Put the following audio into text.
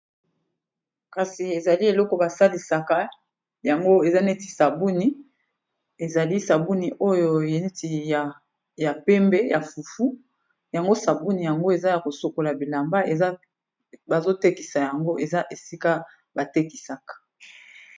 kasi ezali eloko basalisaka yango eza neti sabuni ezali sabuni oyo yeneti ya pembe ya fufu yango sabuni yango eza ya kosokola bilamba ebazotekisa yango eza esika batekisaka